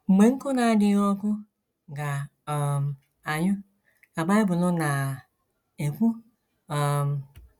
“ Mgbe nkụ na - adịghị ọkụ ga - um anyụ, ” ka Bible na - ekwu. um